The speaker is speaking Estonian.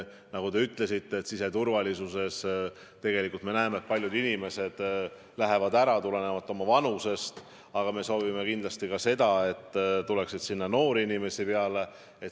Nagu te ütlesite, siseturvalisuses me ju näeme, et paljud inimesed lähevad ära juba tulenevalt oma vanusest ja me soovime, et kindlasti tuleks sinna noori inimesi peale.